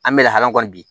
An bɛ lahala kɔni di